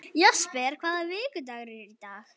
Jesper, hvaða vikudagur er í dag?